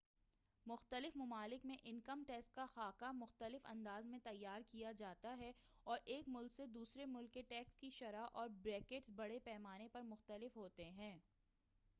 مختلف ممالک میں انکم ٹیکس کا خاکہ مختلف انداز میں تیار کیا جاتا ہے اور ایک ملک سے دوسرے ملک کے ٹیکس کی شرح اور بریکٹس بڑے پیمانے پر مختلف ہوتے ہیں